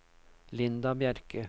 Linda Bjerke